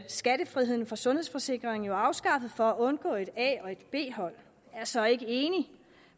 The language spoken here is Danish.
skattefrihed for sundhedsforsikringer jo afskaffet for at undgå et a og et b hold jeg er så ikke enig